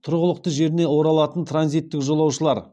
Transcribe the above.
тұрғылықты жеріне оралатын транзиттік жолаушылар